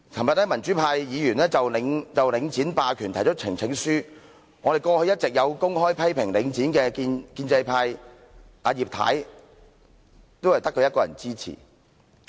昨天民主派議員就領展霸權提交呈請書，過去一直有公開批評領展的建制派，只有葉太一人支持。